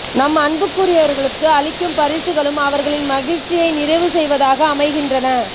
நம் அன்புக்குறியவர்களுக்கு அளிக்கும் பரிசுகளும் அவர்களின் மகிழ்ச்சியை நிறைவு செய்வதாக அமைகின்றன